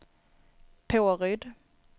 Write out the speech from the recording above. Påryd